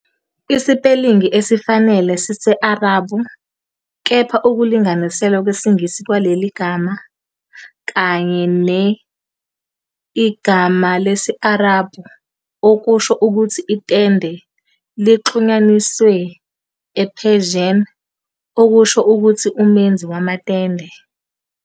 Isipelingi esifanele sise-Arabhu, kepha ukulinganiselwa kwesiNgisi kwaleli gama, kanye ne-. Igama lesi-Arabhu, okusho ukuthi "itende", lixhunyaniswe ne-Persian, okusho ukuthi "umenzi wamatende".